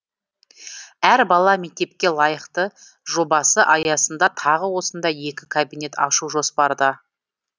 әр бала мектепке лайықты жобасы аясында тағы осындай екі кабинет ашу жоспарда